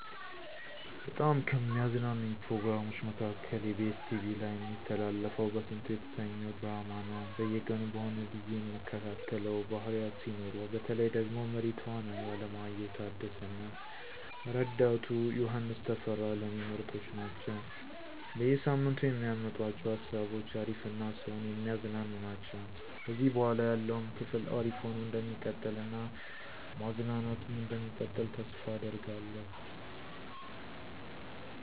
በጣም ከሚያዝናኑኝ ፕሮግራሞች መካከል ebs ቲቪ ላይ እሚተላለፈው በስንቱ የተሰኘው ድራማ ነው። በየቀኑ በሆነ ብዬ እምከታተለው ፕሮግራም ነው። ድራማው ላይ ብዙ አይነት ገፀ ባህርያት ሲኖሩ፤ በተለይ ደግሞ መሪ ተዋናዩ አለማየሁ ታደሰ እና ረዳቱ ዮሐንስ ተፈራ ለኔ ምርጦች ናቸው። በየ ሳምንቱ የሚያመጡአቸው ሃሳቦች አሪፍ እና ሰውን የሚያዝናኑ ናቸው። ከዚህ በኃላ ያለውም ክፍል አሪፍ ሆኖ እንደሚቀጥል እና ማዝናናቱም እንደሚቀጥል ተስፋ አደርጋለሁ።